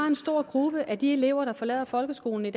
en stor gruppe af de elever der forlader folkeskolen